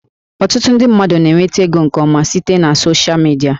Ọtụtụ ndị mmadụ na-enweta ego nke ọma site na soshịa midia